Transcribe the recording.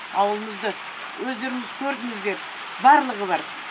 ауылымызды өздеріңіз көрдіңіздер барлығы бар